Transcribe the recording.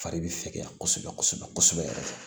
Fari bɛ fɛgɛya kosɛbɛ kosɛbɛ kosɛbɛ yɛrɛ